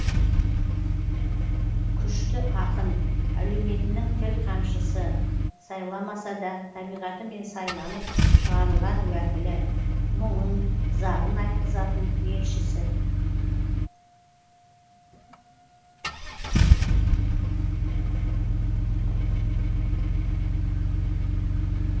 күшті ақын әлеуметінің тіл қамшысы сайламаса да табиғатымен сайланып шығарылған уәкілі мұңын зарын айтқызатын елшісі